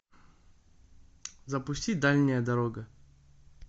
запусти дальняя дорога